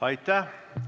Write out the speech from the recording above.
Aitäh!